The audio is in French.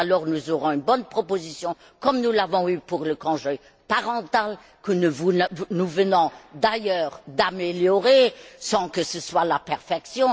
Nous aurons alors une bonne proposition, comme nous l'avons eue pour le congé parental, que nous venons d'ailleurs d'améliorer sans que ce soit la perfection.